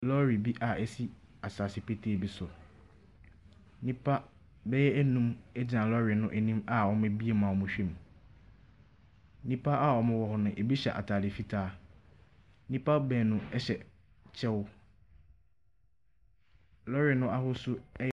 Lɔre bi a ɛsi asaase petee bi so. Nnipa bɛyɛ ɛnum ɛgyina lɔre no anim a ɔmo abiem a ɔmo hwɛ mu. Nnipa a ɔmo wɔ hɔ no, ɛbi hyɛ ataade fitaa. Nnipa baanu ɛhyɛ kyɛw. Lɔre no ahosuo ɛyɛ.